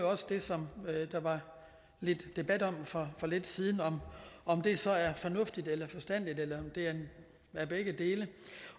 også det som der var lidt debat om for lidt siden hvor om det så er fornuftigt eller forstandigt eller om det er begge dele